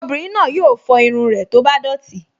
Obìnrin náà yóò fọ irun rẹ̀ tó bá dọ̀tí